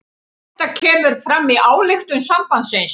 Þetta kemur fram í ályktun sambandsins